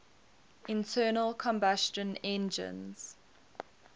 internal combustion engines